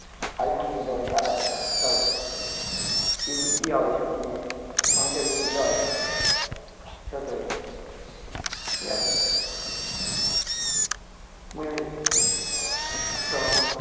iphone কিনতে পারি সাত আটটা কিন্তু কি হবে এসব কিনে অনেকের রুচি দল ছোটই ঠিক আছে বুঝলি তো